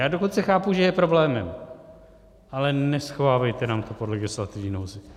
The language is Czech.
Já dokonce chápu, že je problémem, ale neschovávejte nám to pod legislativní nouzi.